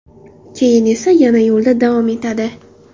Keyin esa yana yo‘lda davom etadi.